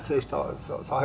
þá